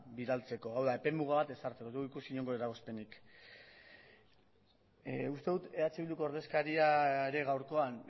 bidaltzeko hau da epe muga bat ezartzeko ez dugu ikusi inongo eragozpenik uste dut eh bilduko ordezkaria ere gaurkoan